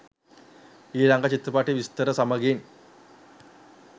ඊළඟ චිත්‍රපටයේ විස්තර සමගින්